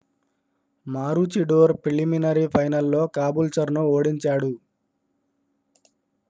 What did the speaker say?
Maroochydore preliminary ఫైనల్లో కాబూల్చర్ను ఓడించాడు